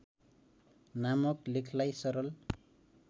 नामक लेखलाई सरल